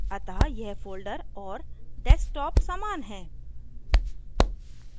अतः यह folder और desktop समान हैं